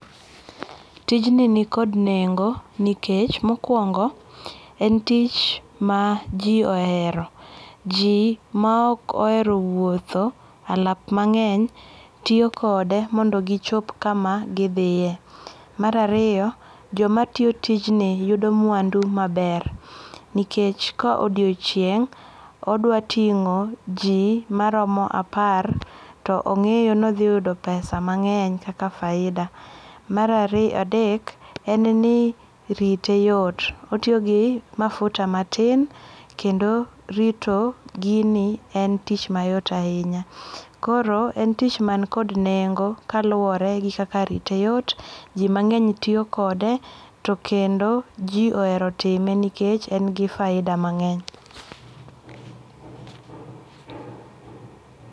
Tijni ni kod nengo nikech, mokwongo en tich ma ji ohero. Ji ma ok ohero wuotho alap mang'eny tiyo kode mondo gichop kama gidhiye. Mar ariyo, jomatiyo tijni yudo mwandu maber. Nikech ka odiochieng' odwating'o ji maromo apar to ong'iyo nodhiyudo pesa mang'eny kaka faida. Mar adek, en ni rite yot. Otiyo gi mafuta matin kendo rito gini en tich mayot ahinya. Koro en tich mankod nengo kaluwore gi kaka rite yot, ji mang'eny tiyo kode, to kendo ji ohero time nikech en gi faida mang'eny.